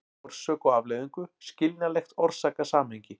orsök og afleiðingu, skiljanlegt orsakasamhengi.